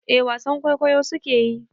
Eh wasan kwaikwayo su ke yi.